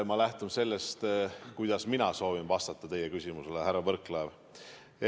Ma lähtun sellest, kuidas mina soovin teie küsimusele vastata, härra Võrklaev.